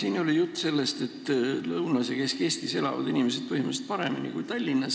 Siin oli juttu sellest, et Lõuna- ja Kesk-Eestis elavad inimesed põhimõtteliselt paremini kui Tallinnas.